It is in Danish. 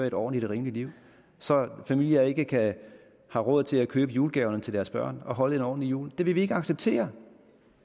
et ordentligt rimeligt liv så familier ikke har råd til at købe julegaver til deres børn og holde en ordentlig jul det vil vi ikke acceptere